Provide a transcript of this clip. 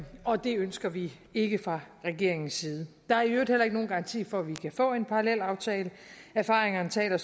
og det ønsker vi ikke fra regeringens side der er i øvrigt heller ikke nogen garanti for at vi kan få en parallelaftale erfaringerne taler